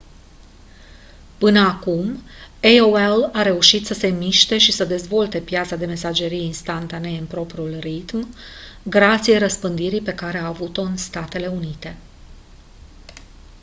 până acum aol a reușit să se miște și să dezvolte piața de mesagerie instantanee în propriul ritm grație răspândirii pe care a avut-o în statele unite